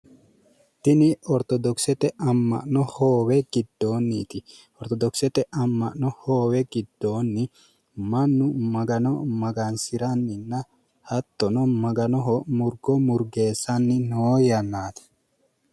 Tini ortodokisete hoowe giddoonniti. Ortodokisete amma'no hoowe giddoonni mannu magano magansiranninna hattono maganoho murgo murgeessanni noo yannaati.